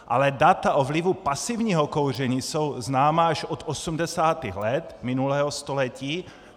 Ale data o vlivu pasivního kouření jsou známá až od 80. let minulého století.